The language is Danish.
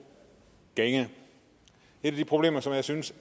gænge et af de problemer som jeg synes